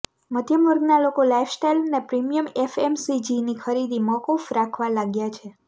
મધ્યમ વર્ગના લોકો લાઇફસ્ટાઇલ અને પ્રીમિયમ એફએમસીજીની ખરીદી મોકૂફ રાખવા લાગ્યા છે